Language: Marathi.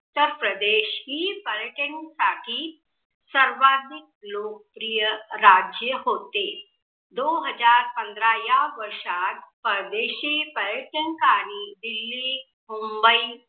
उत्तर प्रदेश ही पर्यटन साठी सर्वाधिक लोकप्रिय राज्य होते. दो हजार पंधरा या वर्षित परदेशी पर्यटन कारी दिल्ली, मुम्बई